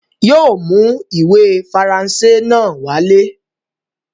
Yóò mú ìwé Faransé náà wálé.